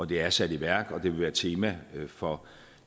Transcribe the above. det er sat i værk og det vil være et tema for